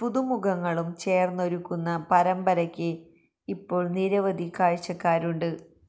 പുതുമുഖങ്ങളും ചേര്ന്നൊരുക്കുന്ന പരമ്പരയ്ക്ക് ഇപ്പോള് നിരവധി കാഴ്ചക്കാരുണ്ട്